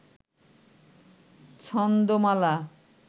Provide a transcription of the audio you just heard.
ছন্দমালা